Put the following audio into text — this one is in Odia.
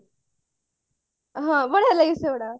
ହଁ ବଢିଆ ଲାଗେ ସେଇଗୁଡାକ